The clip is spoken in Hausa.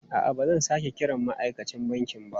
A'a, ba zan sake kiran ma'aikacin banki ba.